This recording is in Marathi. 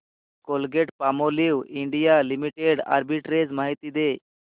कोलगेटपामोलिव्ह इंडिया लिमिटेड आर्बिट्रेज माहिती दे